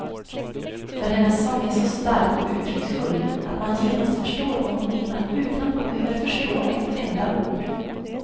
För hennes sång är så stark och uttrycksfull att man genast förstår vad hon menar utan att man behöver förstå ett enda ord.